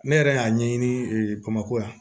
Ne yɛrɛ y'a ɲɛɲini bamakɔ yan